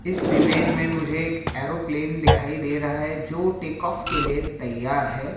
इस इमेज में मुझे एक एयरोप्लेन दिखाई दे रहा है जो टेकऑफ के लिए तैयार है।